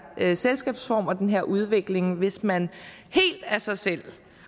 selskabsform og den her udvikling hvis man helt af sig selv